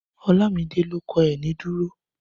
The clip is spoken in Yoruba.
Ọlámidé ló kọ Ẹ̀ní dúró